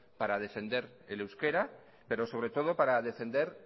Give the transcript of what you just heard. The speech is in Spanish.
para defender el euskera pero sobre todo para defender